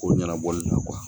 Ko ɲɛnabɔli la